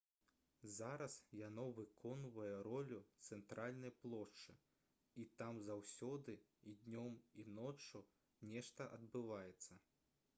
зараз яно выконвае ролю цэнтральнай плошчы і там заўсёды і днём і ноччу нешта адбываецца